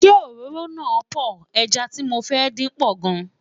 ṣé òróró na poor, ejá tí mọ fẹ dín pò gan